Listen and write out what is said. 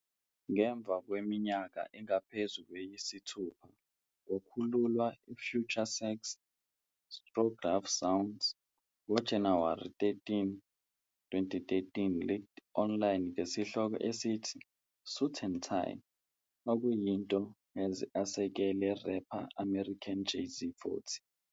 Ngemva kweminyaka engaphezu kweyisithupha kwakhululwa FutureSex - LoveSounds, ngo-January 13, 2013 leaked online ngesihloko esithi "Suit and Tie", okuyinto has asekele rapper American Jay-Z.40